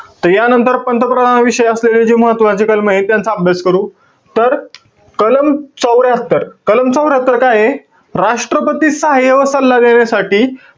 त यानंतर पंतप्रधान विषयी असलेले महत्वाचे जे कलमंये, त्यांचा अभ्यास करू. तर, कलम चौर्यात्तर, कलम चौर्यात्तर काये? राष्ट्रपती सहाय्य्य व सल्ला देण्यासाठी,